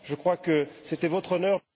Je crois que c'était votre honneur...